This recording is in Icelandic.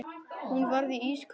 Hún varð ísköld.